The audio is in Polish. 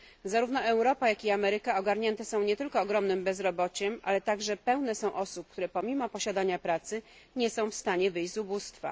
Zarówno Europa, jak i Ameryka są ogarnięte nie tylko ogromnym bezrobociem, ale także pełne są osób, które pomimo posiadania pracy nie są w stanie wyjść z ubóstwa.